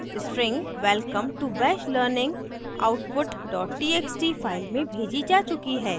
string welcome to bash learning output dot txt file में भेजी जा चुकी है